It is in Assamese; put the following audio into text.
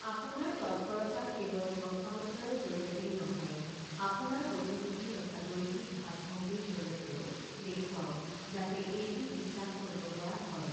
আপোনাৰ তৎপৰতা কেৱল কথা বতৰাৰ জৰিয়তেই নহয় আপোনাৰ গতিবিধি তথা দৈহিক ভাৱ-ভঙ্গীৰ জৰিয়তেও দেখুৱাওক যাতে এইটো বিশ্বাস কৰিব পৰা হয়।